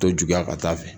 To juguya ka taa fɛ